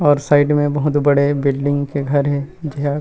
और साइड में बहुत बड़े बिल्डिंग के घर हे जेहा--